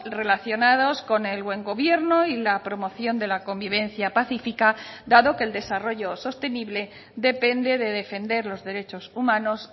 relacionados con el buen gobierno y la promoción de la convivencia pacífica dado que el desarrollo sostenible depende de defender los derechos humanos